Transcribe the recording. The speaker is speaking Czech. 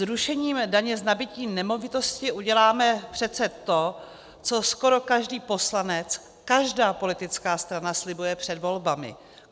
Zrušením daně z nabytí nemovitosti uděláme přece to, co skoro každý poslanec, každá politická strana slibuje před volbami.